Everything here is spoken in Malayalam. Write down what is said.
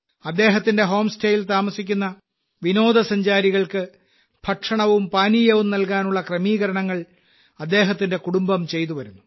അദ്ദേഹത്തിന്റെ ഹോം സ്റ്റേയിൽ താമസിക്കുന്ന വിനോദസഞ്ചാരികൾക്ക് ഭക്ഷണവും പാനീയവും നൽകാനുള്ള ക്രമീകരണങ്ങൾ അദ്ദേഹത്തിന്റെ കുടുംബം ചെയ്തു വരുന്നു